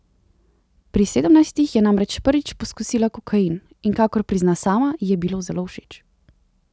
Pri sedemnajstih je namreč prvič poskusila kokain, in kakor prizna sama, ji je bilo zelo všeč.